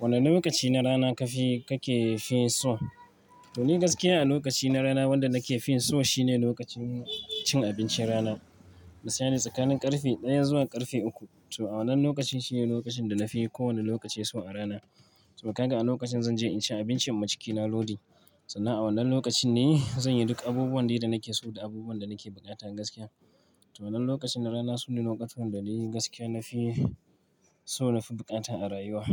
Wane lokaci na rana ka fi, ka ke fi so? To ni gaskiya a lokaci na rana wanda na ke fi so shine lokacin cin abincin rana. Misali tsakanin ƙarfe ɗaya zuwa ƙarfe uku. To a wannan lokacin shine lokacin da na fi kowane lokaci so a rana. To ka ga a lokacin zan je in ci abincin in ma cikina Lodi. Sannan a wannan lokacin ne zan yi duk abubuwan da nake so da abubuwan da nake bukata gaskiya. To wannan lokacin na rana sune lokacin dai gaskiya na fi so, na fi bukata a rayuwa.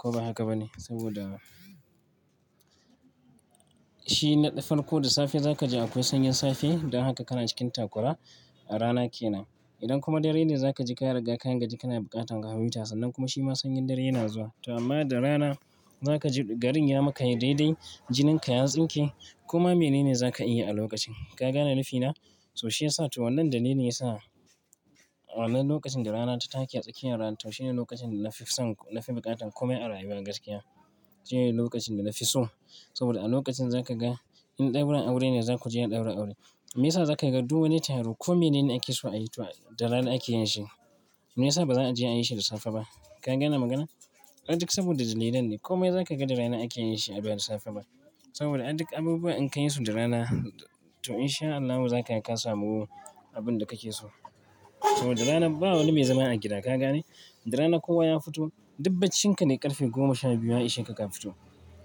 Ko ba haka ba ne? Saboda shi naɗa farko da safe za ka ji akwai sanyin safe. Don haka kana cikin takwara a rana ke nan. Idan kuma dare ne za ka ji kariga ka gaji kana buƙatan ka na huta sannan kuma shi ma sanyin dare yana zuwa. To amma da rana za ka ji garin ya maka yi daidai, jinin ka ya tsinke kuma menene za ka iya a lokacin. Ka gane nafi na? To shi ya sa to wannan da nene ya sa wannan lokacin da rana ta take a tsakiyar rana to shi ne lokacin da na fi son, na fi buƙatan komai a rayuwa gaskiya. Shi ne lokacin da na fi so. Saboda a lokacin za ka ga in ɗaura aure ne za ku je an ɗaura aure. Me ya sa za ka ga duk wani taro ko mene ne ake so a yi to da rana ake yin shi. Me ya sa ba za a je a yi shi da safe ba? Ka gane maganar? A duk saboda dalilan ne. Komai za ka ga da rana ake yin shi a baya da safe ba. Saboda a duk abubuwa in ka yi su da rana to in sha Allahu za ka yi ka samu abun da kake so. To da rana ba wani mai zama a gida ka gane? Da rana kowa ya fito. Dubbachin ka ne ƙarfe goma sha biyu a ishe kuka fito.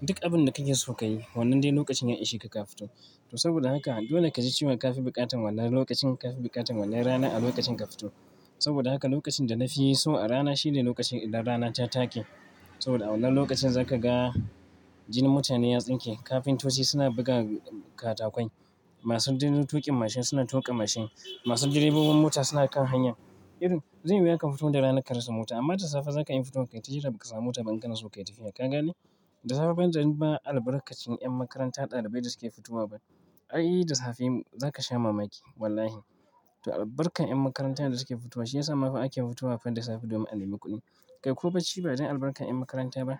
Duk abun da kake so ka yi. Wannan dai lokacin ya ishe ka ka fito. To saboda haka dole ka ji ciwon ka fi buƙatan wannan lokacin, ka fi buƙatan wannan rana a lokacin ka fito. Saboda haka lokacin da na fi so a rana shi ne lokacin idan rana ta take. Saboda a wannan lokacin za ka ga jinin mutane ya tsinke, kafintoci suna buga katakwai, masu jinin tuƙin mashin suna tuƙa mashin, masu direbobin mota suna kan hanya. Iro zai yi wuya ka fito da rana ka rasa mota amma da safe za ka iya fito kai ta jira ba ka samu mota ba in kana so kai tafiya. Ka gane? Da safe ban dan ma albarkacin 'yan makaranta ɗalibai da suke fitowa ba. Ai da safe za ka sha mamaki wallahi. To albarkar 'yan makaranta da suke fitowa shi ya sa ma fa ake fitowa fa da safe domin a nemi kuɗi. Kai ko bacci ba dan albarkar 'yan makaranta ba.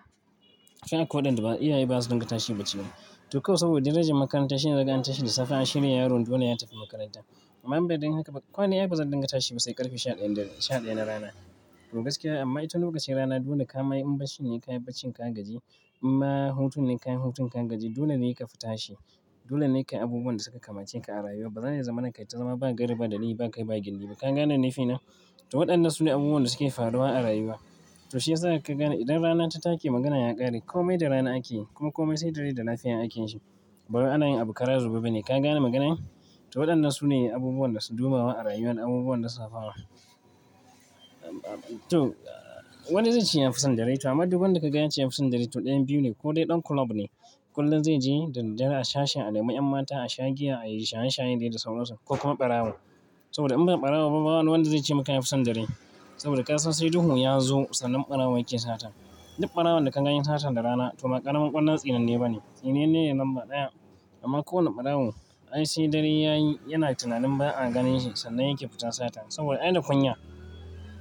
Kai akwai waɗanda iyaye ba su dinga tashi bacci ba. To kawai saboda darajar makaranta shine zaga an tashi da safe a shirya yaron dole ya tafi makaranta. Amma bai dai haka ba. Ko ne ya fi ba zan dinga tashi ba sai ƙarfe sha ɗaya daren, sha ɗaya na rana. To gaskiya amma ita lokacin rana dole ka ma yi, in barci ne ka yi barci ka gaji, in ma hutun ne ka yi hutun ka gaji dole ne ka fa tashi. Dole ne kai abubuwan da suka kamace ka a rayuwa. Ba zan iya zama nan kai ta zama ba gaira ba, dalili ba kai ba gindin ba. Ka gane nafi na? To waɗannan su ne abubuwan da suke faruwa a rayuwa. To shi ya sa ka gane idan rana ta take maganan ya ƙare. Komai da rana ake yi. Kuma komai sai da rai da lafiya ake yin shi. Ba wai ana yin abu kara zube bane. Ka gane maganar? To waɗannan su ne abubuwan da su dubawa a rayuwa, abubuwan lisafawa. To, wani zai ce ya fi son dare to amma duk wanda ka ga yace fi son dare to ɗayan biyu ne ko dai ɗan kulob ne. Kullum zai je da dare a shasha a nemi 'yan mata a sha giya ai shaye shaye dai da sauransu ko kuma barawo. Saboda in ba barawo ba ba wani wanda zai ce maka ya fi son dare. Saboda ƙasa sai duhu ya zo sannan barawo yake sata. Duk barawon da ka gani yai sata da rana to ba ƙaramin ƙwallon tsininai ba ne. Tsininai ne lambar ɗaya. Amma kowane barawo ai sai dare ya yi yana tunanin ba a gane shi sannan yake fita sata. Saboda ai da kunya.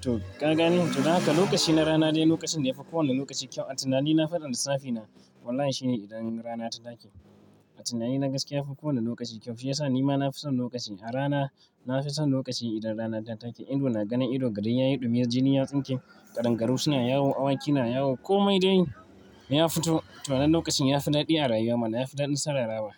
To ka gane? To don haka lokaci na rana dai lokacin da ya fi kowane lokaci kyau. A tunanin na faɗa da lisafi na. Wallahi shi ne idan rana ta take. A tunanin na gaskiya ya fi kowane lokaci kyau. Shi ya sa ni ma na fi son lokaci a rana. Na fi son lokacin idan rana ta take. Ido na gane ido garin ya yi ɗumi, jinin ya tsinke, ƙadangaru suna yawo, awaki suna yawo. Komai dai ya fito. To wannan lokacin ya fi daɗi a rayuwa mana. Ya fi daɗin sararawa.